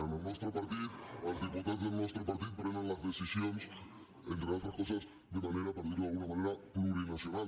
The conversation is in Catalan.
en el nostre partit els diputats del nostre partit prenen les decisions entre altres coses de manera per dirho d’alguna manera plurinacional